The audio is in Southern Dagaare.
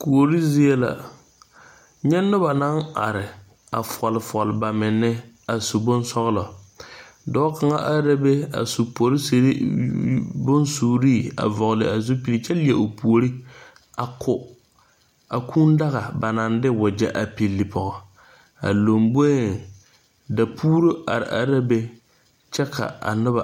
Kuore zie la ka noba are fɔɔle fɔɔle baminne kyɛ zu bonsɔglɔ. Dɔɔ kaŋ arɛɛ la a su poresiri kaayaa a vɔgle a zupil kyɛ leɛ o puori a ko a kuudaga ba naŋ de wagɛ pilli pɔge. A laŋboreŋ dapuuro are are la be kyɛ ka a noba